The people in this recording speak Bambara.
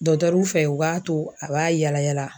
ruw fɛ u b'a to a b'a yaala yaala